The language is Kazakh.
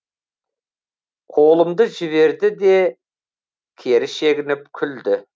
қолымды жіберді де кері шегініп күлді